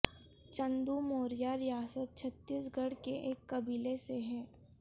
چندو موریہ ریاست چھتیس گڑھ کے ایک قبیلے سے ہیں